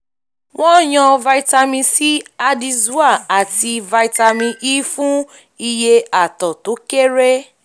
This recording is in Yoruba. wọ́n yàn vitamin c addyzoa àti vitamin e fún iye àtọ̀ tó kéré